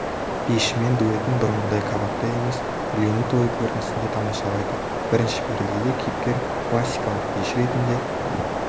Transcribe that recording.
бишімен дуэтін бұрынғыдай кабакта емес үйлену тойы көрінісінде тамашалайды бірінші пердеде кейіпкер классикалық биші ретінде